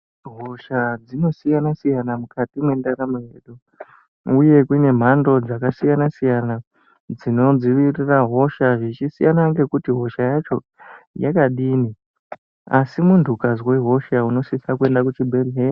Hosha dzakasiyana siyana mukati mwendaramo dzedu uye kune mhando dzakasiyana siyana dzinodzivirira hosha zvichisiyana ngekuti hosha yacho yakadini asi muntu ukazwa hosha unosise kuenda kuchibhedhlera.